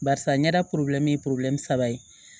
Barisa ɲɛda ye saba ye